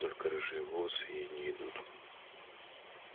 только рыжие волосы ей не идут